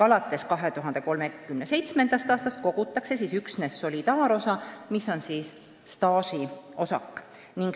Alates 2037. aastast kogutakse üksnes solidaarosa, mis on siis staažiosak.